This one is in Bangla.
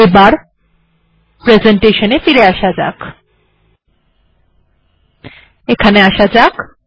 এবার এখানে আসা যাক